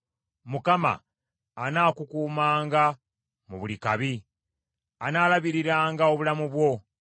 Mukama anaakukuumanga mu buli kabi; anaalabiriranga obulamu bwo.